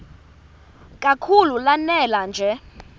kakhulu lanela nje